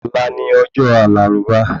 Ọ̀la ni ọjọ́ àlàrúbà